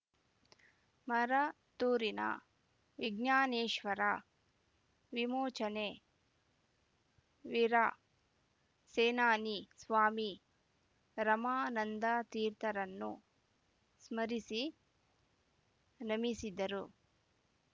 ಮರತೂರಿನ ವಿಜ್ಞಾನೇಶ್ವರ ವಿಮೋಚನೆ ವೀರ ಸೇನಾನಿ ಸ್ವಾಮೀ ರಮಾನಂದ ತೀರ್ಥರನ್ನು ಸ್ಮರಿಸಿ ನಮಿಸಿದರು